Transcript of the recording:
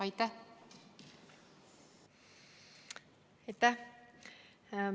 Aitäh!